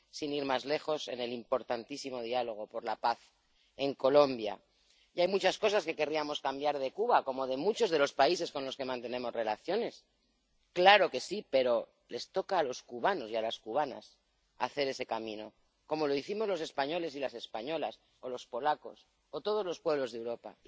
sin ir más lejos, en el importantísimo diálogo por la paz en Colombia. Y hay muchas cosas que querríamos cambiar de Cuba, como de muchos de los países con los que mantenemos relaciones —claro que sí—, pero les toca a los cubanos y a las cubanas hacer ese camino, como lo hicimos los españoles y las españolas, o los polacos, o todos los pueblos de Europa.